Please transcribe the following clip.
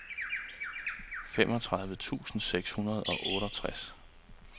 femogtredive tusind seks hundrede og otteogtres